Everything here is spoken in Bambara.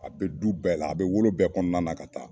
A bɛ du bɛɛ la, a bɛ wolo bɛɛ kɔnɔna na ka taa